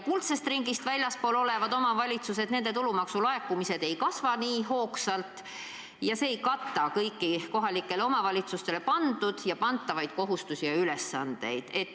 Kuldsest ringist väljaspool olevates omavalitsustes tulumaksu laekumised ei kasva kuigi hoogsalt ja sellest rahast ei piisa, ei täita kõiki kohalikele omavalitsustele pandud ja pandavaid kohustusi.